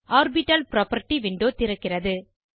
orbital property window திறக்கிறது